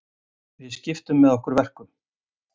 Við skiptum með okkur verkum